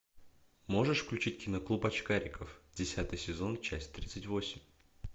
можешь включить кино клуб очкариков десятый сезон часть тридцать восемь